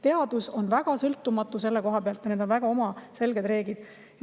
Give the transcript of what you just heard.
Teadus on väga sõltumatu, neil on väga selged reeglid.